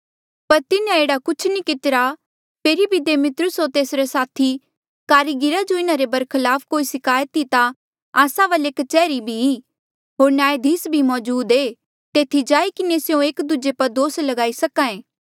पर तिन्हें एह्ड़ा कुछ नी कितिरा फेरी भी दिमेत्रियुस होर तेसरे साथी कारिगिरा जो इन्हा रे बरखलाफ कोई सिकायत ई ता आस्सा वाले कच्हरी भी ई होर न्यायधीस भी मौजूद ऐें तेथी जाई किन्हें स्यों एक दूजे पर दोस लगाई सक्हा ऐें